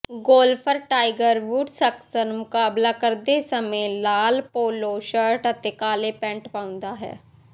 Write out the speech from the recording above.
golfer Tiger Woods ਅਕਸਰ ਮੁਕਾਬਲਾ ਕਰਦੇ ਸਮੇਂ ਲਾਲ ਪੋਲੋ ਸ਼ਰਟ ਅਤੇ ਕਾਲੇ ਪੈਂਟ ਪਾਉਂਦਾ ਹੈ